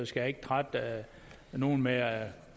skal jeg ikke trætte nogen med at